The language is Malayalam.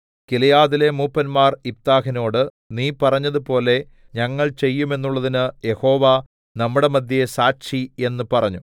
ഗിലെയാദിലെ മൂപ്പന്മാർ യിഫ്താഹിനോട് നീ പറഞ്ഞതുപോലെ ഞങ്ങൾ ചെയ്യുമെന്നുള്ളതിന് യഹോവ നമ്മുടെ മദ്ധ്യേ സാക്ഷി എന്ന് പറഞ്ഞു